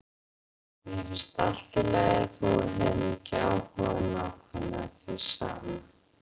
Mér fannst allt í lagi þótt við hefðum ekki áhuga á nákvæmlega því sama.